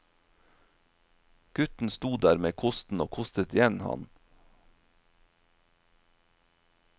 Gutten sto der med kosten og kostet igjen, han.